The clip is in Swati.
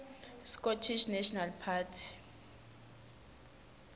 scottish national party